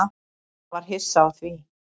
Hún var hissa á því.